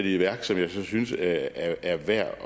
i værk som jeg synes er værd